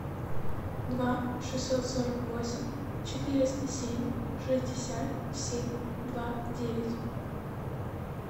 два шестьсот сорок восемь четыреста семь шестьдесят семь два девять